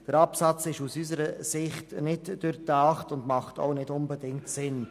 Der Absatz ist aus unserer Sicht nicht durchdacht und macht auch nicht unbedingt Sinn.